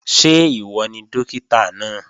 Ṣé ìwọ ni Dókítà náà?